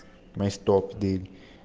найс топ день